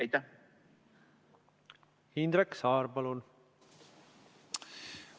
Indrek Saar, palun!